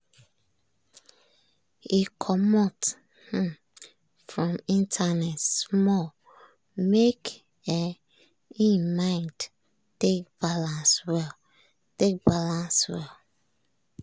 e comot um from internet small make um im mind take balance well. take balance well.